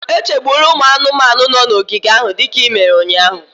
Echegbula ụmụ anụmanụ nọ n'ogige ahụ dịka i mere ụnyahụ